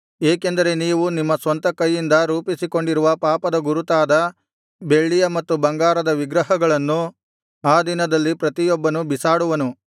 ಏಕೆಂದರೆ ನೀವು ನಿಮ್ಮ ಸ್ವಂತ ಕೈಯಿಂದ ರೂಪಿಸಿಕೊಂಡಿರುವ ಪಾಪದ ಗುರುತಾದ ಬೆಳ್ಳಿಯ ಮತ್ತು ಬಂಗಾರದ ವಿಗ್ರಹಗಳನ್ನು ಆ ದಿನದಲ್ಲಿ ಪ್ರತಿಯೊಬ್ಬನೂ ಬಿಸಾಡುವನು